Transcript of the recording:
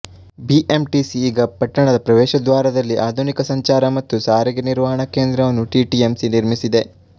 BMTC ಈಗ ಪಟ್ಟಣದ ಪ್ರವೇಶದ್ವಾರದಲ್ಲಿ ಆಧುನಿಕ ಸಂಚಾರ ಮತ್ತು ಸಾರಿಗೆ ನಿರ್ವಹಣಾ ಕೇಂದ್ರವನ್ನು ಟಿಟಿಎಂಸಿ ನಿರ್ಮಿಸಿದೆ